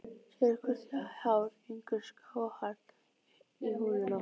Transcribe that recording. Sérhvert hár gengur skáhallt í húðina.